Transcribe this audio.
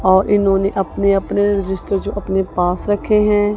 और इन्होंने अपने अपने रजिस्टर जो अपने पास रखे हैं।